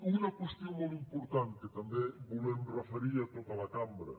una qüestió molt important que també volem referir a tota la cambra